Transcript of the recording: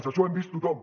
això ho hem vist tothom